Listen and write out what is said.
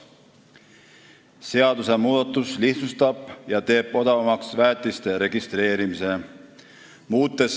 Seadusmuudatus lihtsustab väetiste registreerimise ja teeb selle odavamaks.